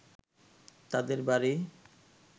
তাদের বাড়ি